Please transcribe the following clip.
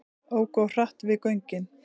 Óku of hratt við göngin